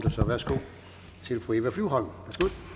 ordet